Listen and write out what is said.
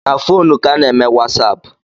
Na fonu ka a na-eme wasapu